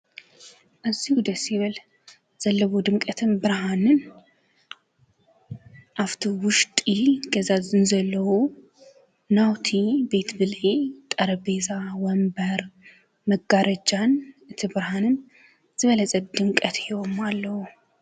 እዙይ ደስዝብል ዘለዎ ድምቀትን ብርሃንን ኣብቲ ውሽጢ ገዛ ዘለዉ ናውቲ ቤት ብለዒ ጠረቤዛን ወንበር መጋረጃን እቲ ብርሃንን ዝበለፀ ድምቀት ሂቦምኣለዉ።